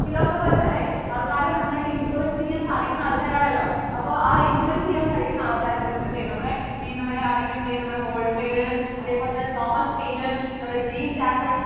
philosophers അല്ലേ ആൾക്കാരെ നന്നായിട്ട് influence ചെയ്യാൻ സാധിക്കുന്ന ആള്‍ക്കാര്‍ ആണല്ലോ അപ്പോൾ ആ influence ചെയ്യാൻ കഴിയുന്ന ആൾക്കാരെ കുറിച്ച് അല്ലെ നമ്മളെ ഈ നമ്മടെ ആരൊക്കെ ആണ് ദേ waltair അതേപോലെ തന്നെ Thomaspaine നമ്മടെ jeenJacquisrusso